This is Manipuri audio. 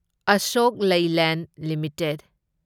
ꯑꯁꯣꯛ ꯂꯩꯂꯦꯟ ꯂꯤꯃꯤꯇꯦꯗ